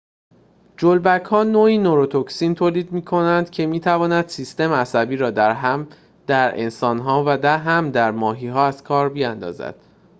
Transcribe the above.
جلبک‌ها نوعی نوروتوکسین تولید می‌کنند که می‌تواند سیستم عصبی را هم در انسان‌ها و هم ماهی‌ها از کار بیاندازد